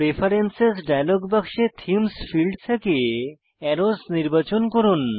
preference dialog বাক্সে themes field থেকে arrows নির্বাচন করুন